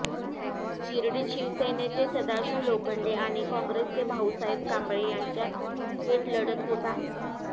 शिर्डीत शिवसेनेचे सदाशिव लोखंडे आणि काँग्रेसचे भाऊसाहेब कांबळे यांच्यात थेट लढत होत आहे